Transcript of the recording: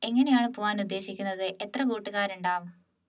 എങ്ങനെയാണ് പോകാൻ ഉദ്ദേശിക്കുന്നത് എത്ര കൂട്ടുകാരുണ്ടാവും